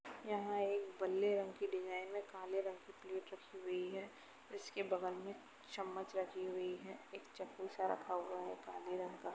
यहाँ एक बल्ले रंग की डिजाइन में काले रंग कि प्लेट रखी हुई है। इसके बगल में चम्मच रखी हुए है एक चक्खु सा रखा हुआ है काले रंग का।